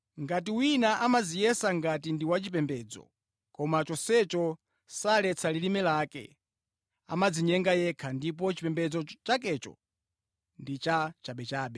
Ngati wina amadziyesa ngati ndi wachipembedzo, koma chonsecho saletsa lilime lake, amadzinyenga yekha ndipo chipembedzo chakecho ndi cha chabechabe.